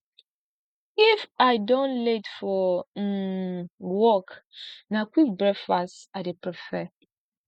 if i don late for um work na quick breakfast i dey prefer